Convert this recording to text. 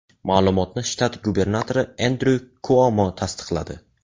Ma’lumotni shtat gubernatori Endryu Kuomo tasdiqladi.